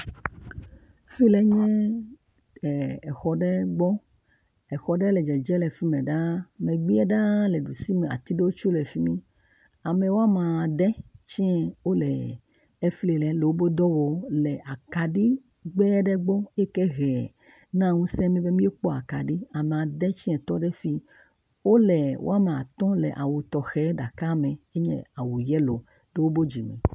Fi le nye exɔ ɖe gbɔ. Exɔ ɖe le dzedze le fi mɛ ɖaa. Megbe ɖaa le ɖusi me, ati ɖe tsɛ le fi mi. Ame woame ade tsɛ wole efi le wobe dɔ wɔ, le akaɖi … gbɔ eyike he na ŋuse mi be míkpɔ akaɖi. Ame ade tsɛ tɔ ɖe fi. Wole wɔame atɔ̃ le awu tɔxɛ ɖeka me. Enye awu yelo to wobe dzime.